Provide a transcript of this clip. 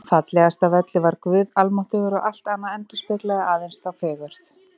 Fallegast af öllu var Guð almáttugur og allt annað endurspeglaði aðeins þá fegurð.